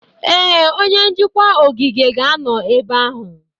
Ee, onye njikwa ogige ga-anọ ebe ahụ.